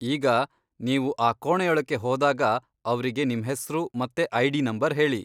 ಈಗ, ನೀವು ಆ ಕೋಣೆಯೊಳಕ್ಕೆ ಹೋದಾಗ ಅವ್ರಿಗೆ ನಿಮ್ಹೆಸ್ರು ಮತ್ತೆ ಐ.ಡಿ. ನಂಬರ್ ಹೇಳಿ.